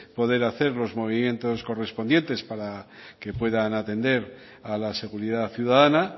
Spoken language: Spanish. poder hacer los movimientos correspondientes para que puedan atender a la seguridad ciudadana